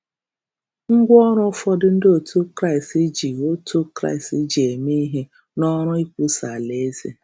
Ngwaọrụ ụfọdụ ndị otu Kraịst ji otu Kraịst ji eme ihe n’ọrụ ikwusa Alaeze